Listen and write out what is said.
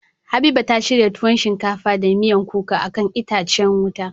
Habiba ta shirya tuwon shinkafa da miyan kuka akan itacen wuta.